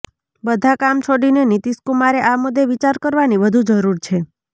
બધાં કામ છોડીને નીતીશકુમારે આ મુદ્દે વિચાર કરવાની વધુ જરૂર છે